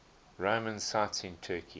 roman sites in turkey